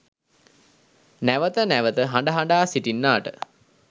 නැවත නැවත හඬ හඬා සිටින්නාට